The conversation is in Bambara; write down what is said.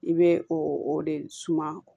I bɛ o o de suma